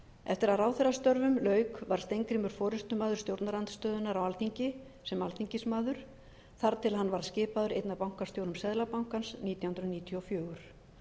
eftir að ráðherrastörfum lauk var steingrímur forustumaður stjórnarandstöðunnar á alþingi sem alþingismaður þar til hann var skipaður einn af bankastjórum seðlabankans nítján hundruð níutíu og fjögur